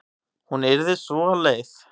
Hún yrði svo leið.